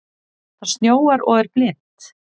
Það snjóar og er blint.